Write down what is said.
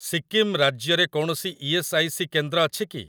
ସିକ୍କିମ ରାଜ୍ୟରେ କୌଣସି E S. I. C. କେନ୍ଦ୍ର ଅଛି କି?